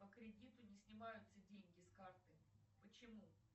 по кредиту не снимаются деньги с карты почему